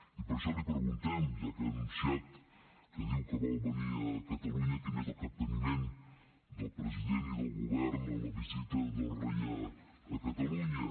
i per això li preguntem ja que ha anunciat que diu que vol venir a catalunya quin és el capteniment del president i del govern en la visita del rei a catalu nya